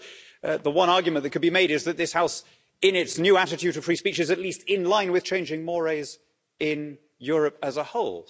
I suppose the one argument that could be made is that this House, in its new attitude to free speech, is at least in line with changing in Europe as a whole.